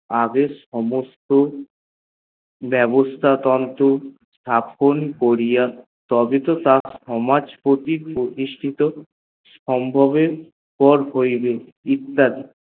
আগে সমস্ত বেবস্থা ততত করিয়া তার সমাজ তত প্রতিষ্ঠিত ভাবে পর করিবে